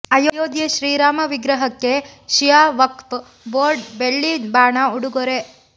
ಅಯೋಧ್ಯೆ ಶ್ರೀರಾಮ ವಿಗ್ರಹಕ್ಕೆ ಶಿಯಾ ವಕ್ಫ್ ಬೋರ್ಡ್ ಬೆಳ್ಳಿ ಬಾಣ ಉಡುಗೊರೆ